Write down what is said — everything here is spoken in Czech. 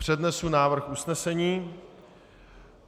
Přednesu návrh usnesení.